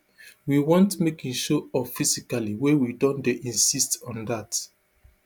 we want make im show up physically wey we don dey insist on dat